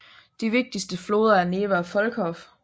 De vigtigste floder er Neva og Volkhov